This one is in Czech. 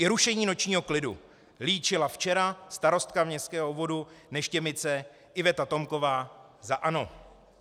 I rušení nočního klidu, líčila včera starostka městského obvodu Neštěmice Iveta Tomková za ANO."